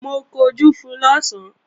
Mo kunjú fun lọ̀sán